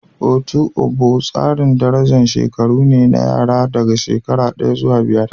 Otu ogbo tsarin daraja ta shekaru ne na yara daga shekara daya zuwa biyar.